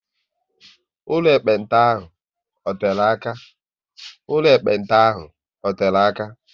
Ụlọ ekpenta ahụ ọ tere aka?